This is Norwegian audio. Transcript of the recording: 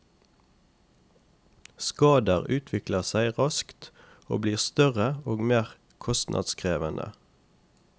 Skader utvikler seg raskt og blir større og mer kostnadskrevende.